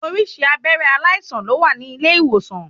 Oríṣiríṣi abẹ́rẹ́ aláìsàn ló wà ní ilé ìwòsan.